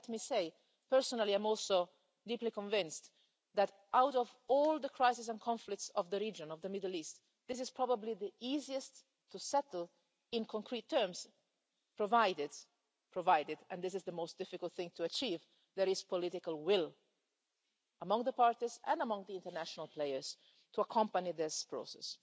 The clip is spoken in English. And let me say, personally I'm also deeply convinced that, out of all the crises and conflicts of the region of the Middle East, this is probably the easiest to settle in concrete terms, provided and this is the most difficult thing to achieve there is political will among the parties and among the international players to accompany this process.